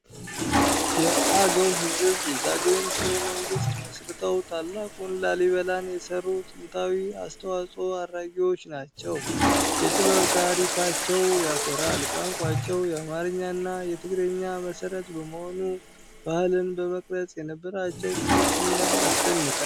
የአገው ሕዝብ የዛጉዌን ሥርወ መንግሥት መሥርተው ታላቁን ላሊበላን የሠሩ ጥንታዊ አስተዋጽዖ አድራጊዎች ናቸው። የጥበብ ታሪካቸው ያኮራል። ቋንቋቸው የአማርኛና የትግርኛ መሠረት በመሆኑ ባህልን በመቅረጽ የነበራቸው ትልቅ ሚና ያስደንቃል።